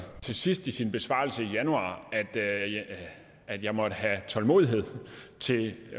til sidst i sin besvarelse i januar at jeg måtte have tålmodighed til